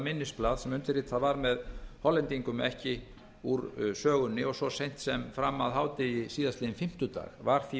minnisblað sem undirritað var með hollendingum ekki úr sögunni og svo seint sem fram að hádegi síðastliðinn fimmtudag var því